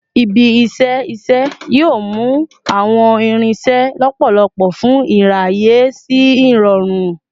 Ibi-iṣẹ iṣẹ yoo mu awọn irinṣẹ lọpọlọpọ fun iraye si irọrun